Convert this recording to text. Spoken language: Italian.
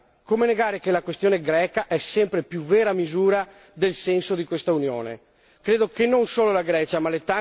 Per quanto riguarda l'unione monetaria, come negare che la questione greca è sempre più vera misura del senso di quest'Unione?